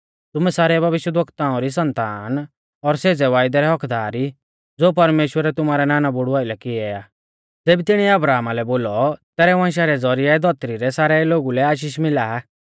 तुमै सारै भविष्यवक्ताऔं री सन्तान और सेज़ै वायदै रै हक्क्कदार ई ज़ो परमेश्‍वरै तुमारै नानाबुड़ु आइलै कियौ आ ज़ेबी तिणीऐ अब्राहमा लै बोलौ तैरै वंशा रै ज़ौरिऐ धौतरी रै सारै लोगु लै आशीष मिला आ